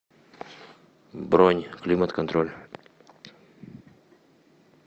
бронь климат контроль